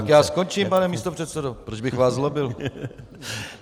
Tak já skončím, pane místopředsedo, proč bych vás zlobil.